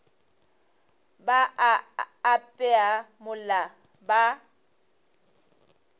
ba a apea mola ba